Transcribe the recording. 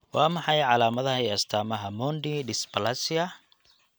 Waa maxay calaamadaha iyo astaamaha Mondi dysplasia?